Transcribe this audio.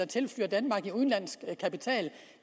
tilført danmark i udenlandsk kapital